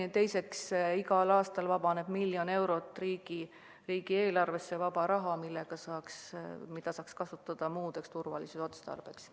Ja teiseks, igal aastal vabaneb riigieelarvesse miljon eurot vaba raha, mida saaks kasutada muul turvalisuse otstarbel.